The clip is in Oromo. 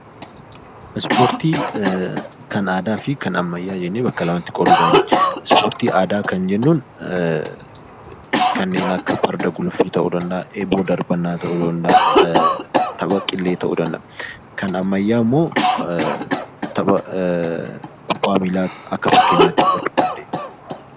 Ispoortii kan aadaa fi kan ammayyaa jennee bakka lamatti qooduu dandeenya. Ispoortii aadaa kan jennuun kanneen akka farda guluffii, eeboo darbannaa, tapha qillee kan ammayyaa immoo tapha kubbaa miilaa Akka fakkeenyaatti fudhachuu dandeenya